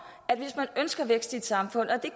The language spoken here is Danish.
at hvis man ønsker vækst i et samfund og det